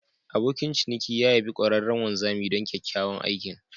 Abokin ciniki ya yabe ƙwararren wanzami don kyakkyawan aikin.